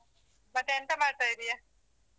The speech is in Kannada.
ಮತ್ತೆ ಎಂತ ಮಾಡ್ತಾ ಇದ್ದೀಯಾ?